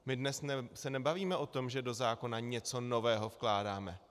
My se dnes nebavíme o tom, že do zákona něco nového vkládáme.